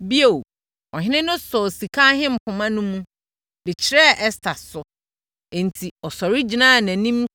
Bio, ɔhene no sɔɔ sika ahempoma no mu, de kyerɛɛ Ɛster so. Enti, ɔsɔre gyinaa nʼanim